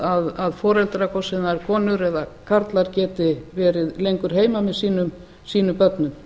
foreldrar hvort sem það eru konur eða karlar geti verið lengur heima með sínum börnum